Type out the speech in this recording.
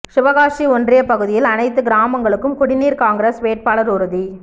சிவகாசி ஒன்றிய பகுதியில் அனைத்து கிராமங்களுக்கும் குடிநீர் காங்கிரஸ் வேட்பாளர் உறுதி